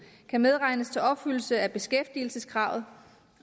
kan medregnes til opfyldelse af beskæftigelseskravet